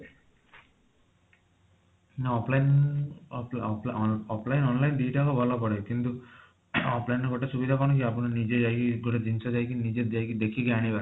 ମାନେ offline off off offline online ଦିଟାକ ଭଲ ପଡେ କିନ୍ତୁ offline ରେ ଗୋଟେ ସୁବିଧା କଣ କି ଆପଣ ନିଜେ ଯାଇକି ପୁରା ଜିନିଷ ଯାଇକି ନିଜେ ଯାଇକି ଦେଖିକି ଆଣିବ